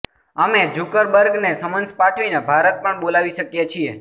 અમે ઝુકરબર્ગને સમન્સ પાઠવીને ભારત પણ બોલાવી શકીએ છીએ